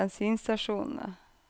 bensinstasjonene